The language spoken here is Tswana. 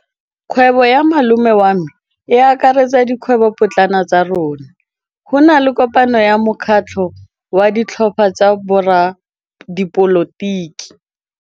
Kgwêbô ya malome wa me e akaretsa dikgwêbôpotlana tsa rona. Go na le kopanô ya mokgatlhô wa ditlhopha tsa boradipolotiki.